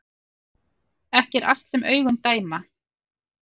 Ekki er allt sem augun dæma